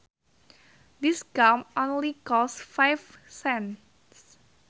This gum only costs five cents